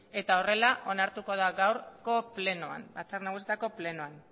eta honela onartuko da gaurko plenoan batzar nagusitako plenoan